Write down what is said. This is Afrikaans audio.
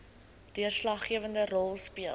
deurslaggewende rol speel